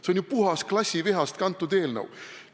See on ju puhas klassivihast kantud eelnõu!